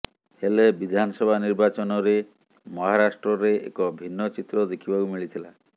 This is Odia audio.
ହେଲେ ବିଧାନସଭା ନିର୍ବାଚନରେ ମହାରାଷ୍ଟ୍ରରେ ଏକ ଭିନ୍ନ ଚିତ୍ର ଦେଖିବାକୁ ମିଳିଥିଲା